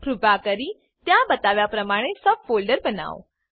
કૃપા કરી ત્યાં બતાવ્યા પ્રમાણે સબ ફોલ્ડર બનાવો